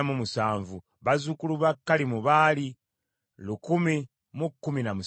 ne bazzukulu ba Kalimu baali lukumi mu kumi na musanvu (1,017).